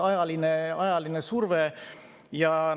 Ajaline surve!